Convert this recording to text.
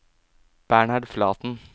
Bernhard Flaten